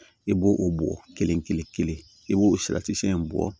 I b'o o bɔ kelen kelen kelen kelen i b'o in bɔ